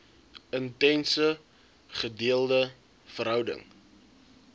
intense gedeelde verhouding